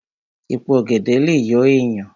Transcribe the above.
Èpo ọ̀gẹ̀dẹ̀ lè yọ èèyàn